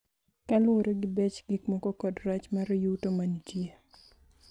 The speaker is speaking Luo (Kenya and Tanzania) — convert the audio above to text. Kaluwore gi bech gikmoko kod rach mar yuto manitie.